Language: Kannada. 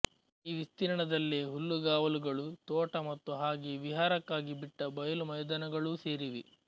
ಈ ವಿಸ್ತೀರ್ಣದಲ್ಲೇ ಹುಲ್ಲುಗಾವಲುಗಳು ತೋಟ ಮತ್ತು ಹಾಗೆ ವಿಹಾರಕ್ಕಾಗಿ ಬಿಟ್ಟ ಬಯಲು ಮೈದಾನಗಳೂ ಸೇರಿವೆ